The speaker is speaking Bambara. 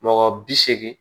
Mɔgɔ bi seegin